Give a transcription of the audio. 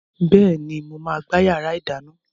Bẹ́ẹ̀ni, mo máa gbá yàrá ìdáná.